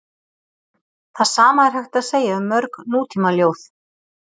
Það sama er hægt að segja um mörg nútímaljóð.